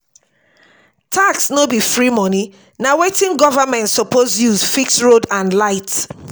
tax no be free money na wetin government suppose use fix road and light.